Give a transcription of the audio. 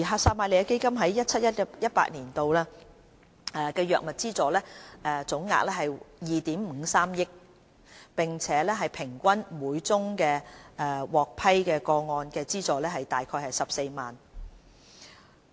撒瑪利亞基金於 2017-2018 年度的藥物資助總額約為2億 5,300 萬元，平均每宗獲批個案的資助額約為14萬元。